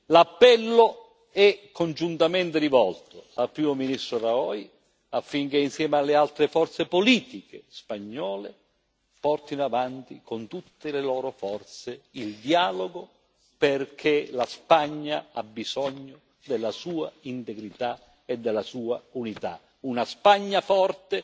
L'appello è congiuntamente rivolto al Primo ministro Rajoy, affinché, insieme alle altre forze politiche spagnole, porti avanti con tutte le loro forze il dialogo, perché la Spagna ha bisogno della sua integrità e dalla sua unità una Spagna forte,